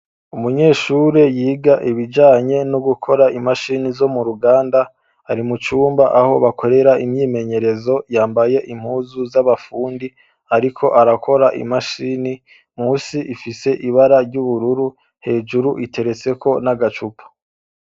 Umunyeshure yiga ibijanye no gukora imashini zo mu ruganda, ari mu cumba aho bakorera imyimenyerezo, yambaye impuzu z'abafundi ariko arakora imashini, musi ifise ibara ry'ubururu, hejuru iteretseko n'agacupa.